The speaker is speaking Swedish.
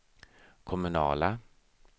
kommunala